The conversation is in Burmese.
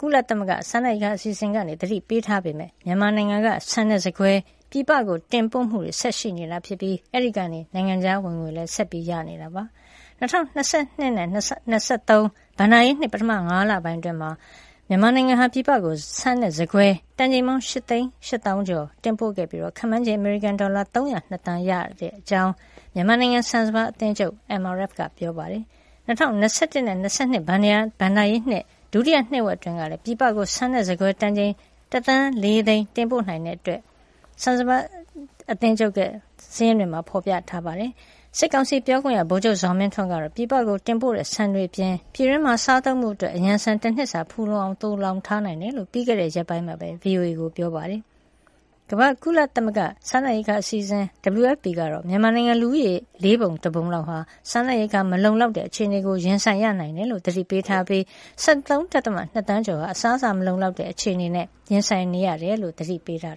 ကုလစားနပ်ရိက္ခာအစီအစဉ်က သတိပေးထားပေမယ့် မြန်မာနိုင်ငံက ဆန်နဲ့ ဆန်ကွဲ ပြည်ပတင်ပို့မှုတွေဆက်ရှိနေပြီး အဲဒီကနေ နိုင်ငံခြားဝင်ငွေ ဆက်ရနေပါတယ်။ ၂၀၂၂ ခုနှစ်နဲ့ ၂၀၂၃ ခုနှစ် ဘဏ္ဍာရေးနှစ် ပထမ ၅ လ ပိုင်းအတွင်း မြန်မာနိုင်ငံဟာ ဆန်နဲ့ ဆန်ကွဲတန်ချိန် ၈ သိန်း ၈ သောင်းကျော် ပြည်ပကို တင်ပို့ခဲ့ပြီး ခန့်မှန်းခြေ အမေရိကန် ဒေါ်လာ ၃၀၂ သန်း ရရှိခဲ့တဲ့အကြောင်း မြန်မာနိုင်ငံဆန်စပါး အသင်းချုပ် MRF ပြောဆိုတာကို Global New Light of Myanmar သတင်းစာမှာ ရေးပါတယ်။ ၂၀၂၁ နဲ့ ၂၂ ခုနှစ် ဘဏ္ဍာရေးနှစ် ဒုတိယ နှစ်ဝက်အတွင်းကလည်း ပြည်ပကို ဆန်နဲ့ဆန်ကွဲတန်ချိန် တသန်း ၄ သိန်း တင်ပို့နိုင်ခဲ့တဲ့အကြောင်း ဆန်စပါး အသင်းချုပ်ရဲ့ စာရင်းတွေမှာ ဖေါ်ပြပါတယ်။ စစ်ကောင်စီ ပြောခွင့်ရ ဗိုလ်ချုပ်ဇော်မင်းထွန်းကတော့ ပြည်ပကိုတင်ပို့နေတဲ့ ဆန်တွေအပြင် ပြည်တွင်းမှာစားသုံးဖို့ အရံဆန် တနှစ်စာဖူလုံအောင် သိုလှောင်ထားတယ်လို့ ပြီးခဲ့တဲ့ရက်ပိုင်းက VOA ကို ပြောဆိုပါတယ်။ ကုလသမဂ္ဂ ကမ္ဘာ့စားနပ်ရိက္ခာအစီအစဉ် WFP ကတော့ မြန်မာနိုင်ငံလူဦးရေရဲ့ လေးပုံတပုံဟာ စားနပ်ရိက္ခာ မလုံလောက်တဲ့အခြေအနေကို ရင်ဆိုင်ရနိုင်တယ်လို့ သတိပေးထားပြီး ၁၃.၂ သန်းကျော် အစားအစာမလုံလောက်တဲ့အခြေအနေ ရင်ဆိုင်နေရတယ်ဆိုပြီး သတိပေးထား